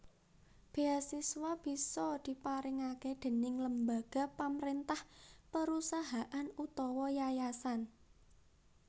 Beasiswa bisa diparingake déning lembaga pamrentah perusahaan utawa yayasan